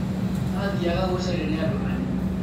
Maathiaga gũcario nĩ andũ anini